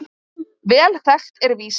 Vel þekkt er vísan